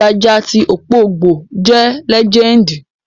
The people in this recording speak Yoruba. Jaja ti Okpobo jẹ́